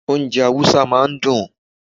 Hausa food is always sweet.